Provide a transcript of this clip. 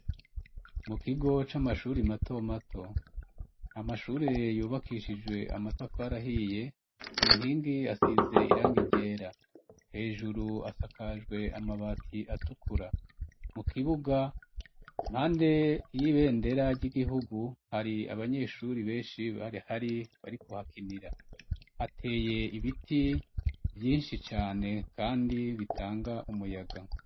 Mu kigo c'amashuri mato mato amashure yubakishijwe amatafarahiye ku nkingi asize irangi ryera hejuru asakajwe amabati atukura mu kibuga impande y'ibendera ry'igihugu hari abanyeshuri benshi bari hari barikuhakinira hateye ibiti vyinshi cane kandi bitanga umuyaga.